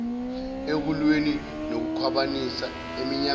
ekulweni nokukhwabanisa eminyangweni